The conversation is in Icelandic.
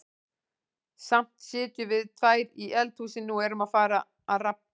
Samt sitjum við tvær í eldhúsinu og erum að fara að rabba.